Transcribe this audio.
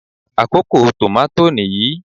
Àkókò tòmátò nìyí.